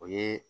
O ye